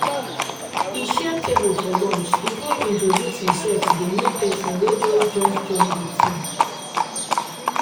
e share table for lunch e con introduce himself to the new person wey just just join the team.